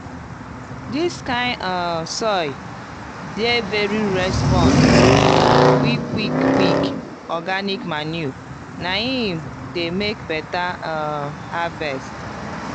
dis kind um soil dey very respond quick quick quick organic manure na im dey make beta um harvest